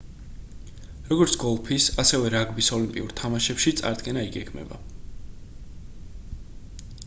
როგორც გოლფის ასევე რაგბის ოლიმპიურ თამაშებში აღდგენა იგეგმება